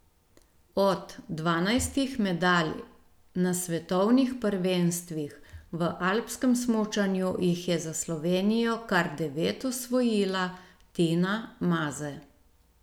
Od dvanajstih medalj na svetovnih prvenstvih v alpskem smučanju jih je za Slovenijo kar devet osvojila Tina Maze.